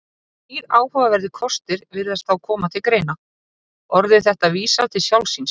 Þrír áhugaverðir kostir virðast þá koma til greina: Orðið þetta vísar til sjálfs sín.